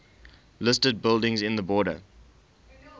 listed buildings in the borders